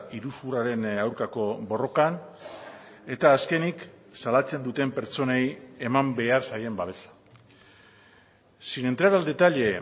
iruzurraren aurkako borrokan eta azkenik salatzen duten pertsonei eman behar zaien babesa sin entrar al detalle